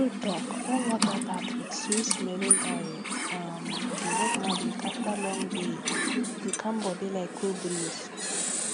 true talk warm bath with sweetsmelling oil um dey work magic after long daye dey calm body like cool breeze